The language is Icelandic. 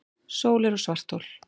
Sólir og svarthol